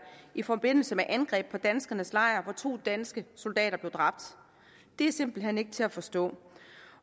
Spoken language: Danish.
i forbindelse med angreb på danskernes lejr hvor to danske soldater blev dræbt det er simpelt hen ikke til at forstå